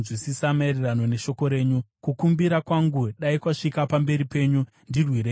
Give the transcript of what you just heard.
Kukumbira kwangu dai kwasvika pamberi penyu; ndirwirei maererano nevimbiso yenyu.